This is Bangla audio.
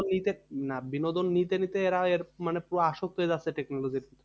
বিনোদন নিতে না বিনোদন নিতে নিতে এরা এর মানে পুরো আসক্ত হয়ে যাচ্ছে technology তে